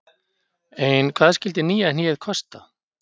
Ein hvað skyldi nýja hnéð kosta?